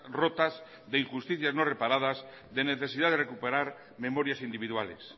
rotas de injusticias no reparadas de necesidad de recuperar memorias individuales